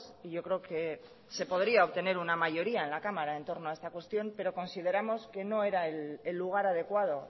y yo creo que se podría obtener una mayoría en la cámara en torno a esta cuestión pero consideramos que no era el lugar adecuado